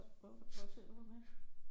Hvor ser du ham henne